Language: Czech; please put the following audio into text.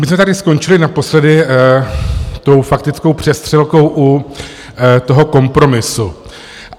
My jsme tady skončili naposledy tou faktickou přestřelkou u toho kompromisu.